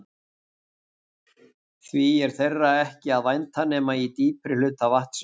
Því er þeirra ekki að vænta nema í dýpri hluta vatnsins.